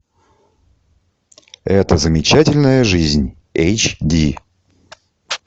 эта замечательная жизнь эйч ди